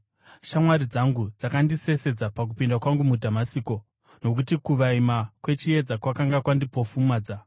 Shamwari dzangu dzakandisesedza pakupinda kwangu muDhamasiko, nokuti kuvaima kwechiedza kwakanga kwandipofumadza.